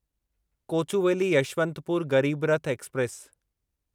Kochuveli Yeshwantpur Garib Rath express